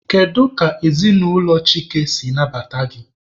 Kedu ka ezinụlọ Chike si nabata gị?